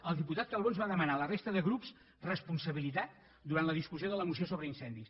el diputat calbó ens va demanar a la resta de grups responsabilitat durant la discussió de la moció sobre incendis